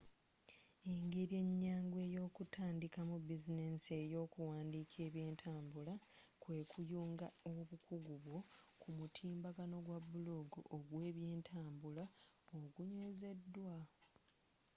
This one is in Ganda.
engeri enyangu eyokutandika mu bizinesi eyo kuwandiika ebyentambula kwe kuyunga obukugu bwo ku mutimbagano gwa blog ogwebyentambula ogunywezeddwa